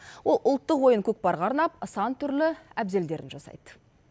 ол ұлттық ойын көкпарға арнап сан түрлі әбзелдерін жасайды